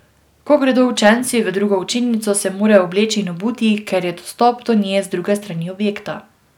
Ko gredo učenci v drugo učilnico, se morajo obleči in obuti, ker je dostop do nje z druge strani objekta.